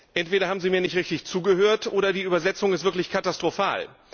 Entweder haben Sie mir nicht richtig zugehört, oder die Übersetzung ist wirklich katastrophal.